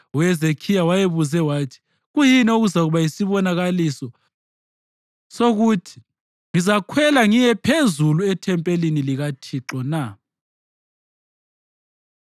UHezekhiya wayebuze wathi, “Kuyini okuzakuba yisibonakaliso sokuthi ngizakhwela ngiye phezulu ethempelini likaThixo na?”